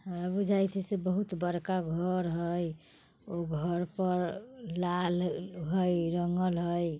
हमरा बुझाई छई से बहुत बड़का घर हइ। ओ घर पर लाल हइ रंगल हइ ।